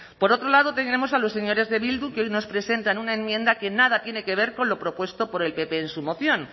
por otro lado tenemos a los señores de bildu que hoy nos presentan una enmienda que nada tiene que ver con lo propuesto por el pp en su moción